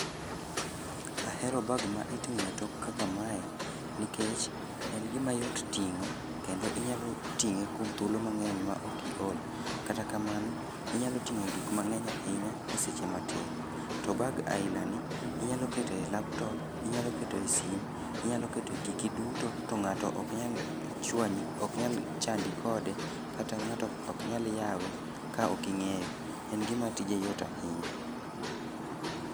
Ahero bag ma iting'o e tok kaka mae nikech en gima yot ting'o kendo inyalo ting'e kuom thuolo mang'eny maok iol. Kata kamano, inyalo ting'e gik mang'eny ahinya e a seche matin. To bag ailani inyalo kete laptop, inyalo kete sim, inyalo kete giki duto to ng'ato oknyal chandi kode kata ng'ato oknyal yawe ka ok ing'eyo. En gima tije yot ahinya.